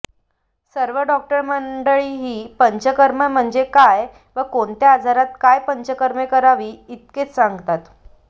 सर्व डॉक्टर मंडळी ही पंचकर्मे म्हणजे काय व कोणत्या आजारात काय पंचकर्मे करावीत इतकेच सांगतात